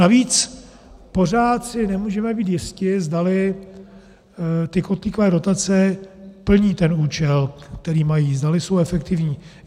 Navíc pořád si nemůžeme být jisti, zdali ty kotlíkové dotace plní ten účel, který mají, zdali jsou efektivní.